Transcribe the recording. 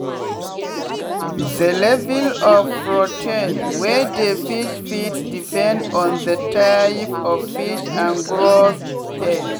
the level of protein wey dey fish feeds depend on the type of fish and growth stage.